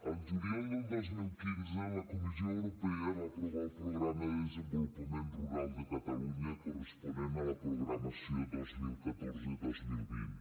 el juliol del dos mil quinze la comissió europea va aprovar el programa de desenvolupament rural de catalunya corresponent a la programació dos mil catorze dos mil vint